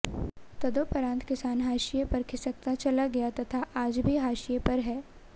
तदोपंरात किसान हाशिए पर खिसकता चला गया तथा आज भी हाशिए पर है